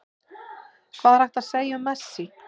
Hvað er hægt að segja um Messi?